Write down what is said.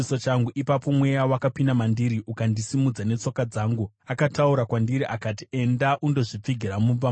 Ipapo Mweya wakapinda mandiri ukandisimudza netsoka dzangu. Akataura kwandiri akati, “Enda undozvipfigira mumba mako.